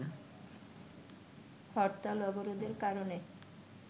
হরতাল-অবরোধের কারনে